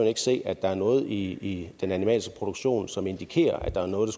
ikke se at der er noget i den animalske produktion som indikerer at der er noget